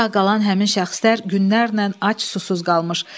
Sağ qalan həmin şəxslər günlərlə ac susuz qalmışdı.